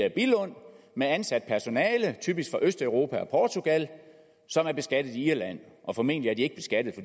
i billund med ansat personale typisk fra østeuropa og portugal som er beskattet i irland og formentlig er de ikke beskattet